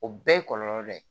O bɛɛ ye kɔlɔlɔ dɔ ye